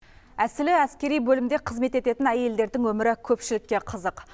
әсілі әскери бөлімде қызмет ететін әйелдердің өмірі көпшілікке қызық